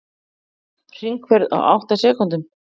Hringferð á átta sekúndum